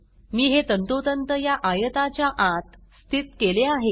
मी हे तंतोतंत या आयताच्या आत स्थीत केले आहे